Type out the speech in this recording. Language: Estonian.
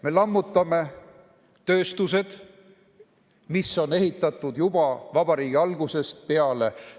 Me lammutame tööstused, mida on ehitatud juba vabariigi algusest peale.